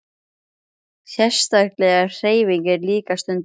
Sérstaklega ef hreyfing er líka stunduð.